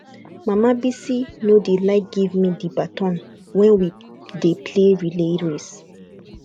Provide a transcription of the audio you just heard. mama bisi no dey like give me the baton wen we dey play relay race